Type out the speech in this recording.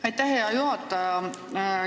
Aitäh, hea juhataja!